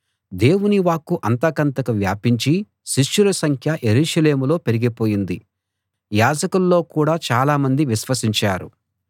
దేవుని వాక్కు అంతకంతకూ వ్యాపించి శిష్యుల సంఖ్య యెరూషలేములో పెరిగిపోయింది యాజకుల్లో కూడా చాలామంది విశ్వసించారు